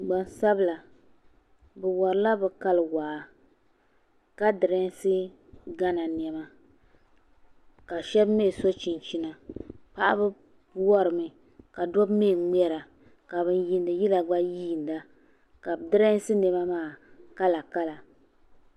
Gbansabila bi worila bi kali waa ka dirɛsi gana niɛma ka shab mii so chinchina paɣaba worimi ka dabba mii ŋmɛra ka bin yiindi yila gba yiinda ka bi dirɛsi niɛma maa kala kala